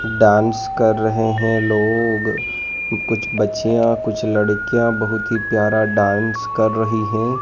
Dance कर रहे हैं लोग कुछ बच्चिया कुछ लड़कियां बहोत ही प्यारा डांस कर रही है।